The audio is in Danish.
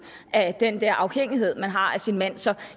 af den her afhængighed man har af sin mand så